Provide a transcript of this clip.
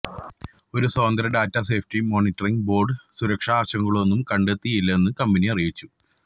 ഒരു സ്വതന്ത്ര data safety monitoring board സുരക്ഷാ ആശങ്കകളൊന്നും കണ്ടെത്തിയില്ലെന്ന് കമ്പനി അറിയിച്ചു